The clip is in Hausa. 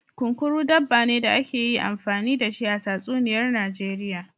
Kunkuru, dabba ne da ake yi amfani da shi a tatsuniyar Najeriya.